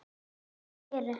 Þau eru